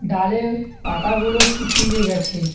ডালে পাতাগুলো শুকিয়ে গেছে।